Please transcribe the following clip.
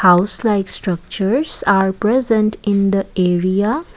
house like structures are present in the area.